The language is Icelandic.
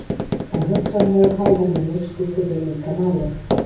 En hugsanlegur hæðarmunur skiptir hér líka máli.